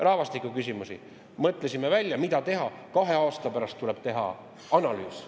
Rahvastiku küsimused – mõtlesime välja, mida teha: kahe aasta pärast tuleb teha analüüs.